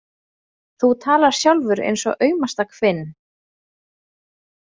Þú talar sjálfur eins og aumasta hvinn.